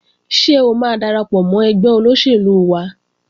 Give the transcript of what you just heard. Ṣé o máa darapọ̀ mọ́ ẹgbẹ́ olóṣèlú wa?